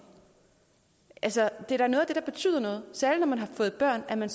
altså det er da noget af det der betyder noget særlig når man har fået børn at man